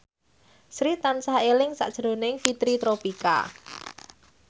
Sri tansah eling sakjroning Fitri Tropika